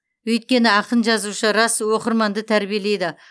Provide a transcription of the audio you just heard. өйткені ақын жазушы рас оқырманды тәрбиелейді